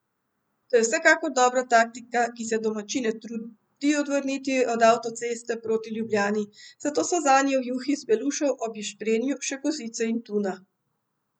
To je vsekakor dobra taktika, ki se domačine trudi odvrniti od avtoceste proti Ljubljani, zato so zanje v juhi iz belušev ob ješprenju še kozice in tuna.